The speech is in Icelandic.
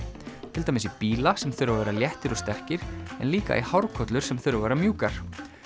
til dæmis í bíla sem þurfa að vera léttir og sterkir en líka í hárkollur sem þurfa að vera mjúkar